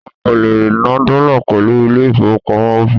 O kò lè ná dọ́là pẹ̀lú ilé ìfowópamọ́ Opay.